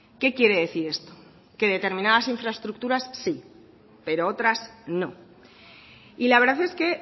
qué quiere decir esto que determinadas infraestructuras sí pero otras no y la verdad es que